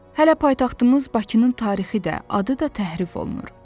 Hələ paytaxtımız Bakının tarixi də, adı da təhrif olunur.